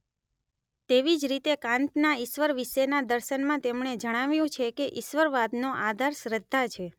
તેવી જ રીતે કાંતના ઇશ્વર વિષેના દર્શનમાં તેમણે જણાવ્યું છે કે ઈશ્વરવાદનો આધાર શ્રદ્ધા છે